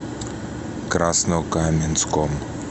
краснокаменском